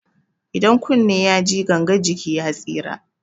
Idan kunne yaji gangan jiki ya tsira.